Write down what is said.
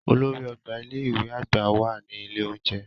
Olórí ọgbà ilé ìwé àgbà wà ní ilé oúnjẹ.